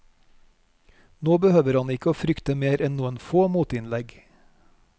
Nå behøver han ikke å frykte mer enn noen få motinnlegg.